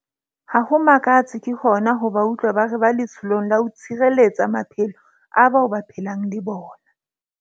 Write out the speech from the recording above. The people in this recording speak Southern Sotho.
Ha ho makatse ke hona ho ba utlwa ba re ba letsholong la ho tshireletsa maphelo a bao ba phelang le bona.